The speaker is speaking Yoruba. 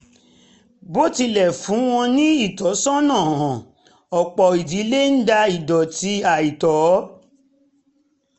bó tilẹ̀ fún wọn ní ìtọ́sọ́nà hàn ọ̀pọ̀ ìdílé ń da ìdọ̀tí àìtọ́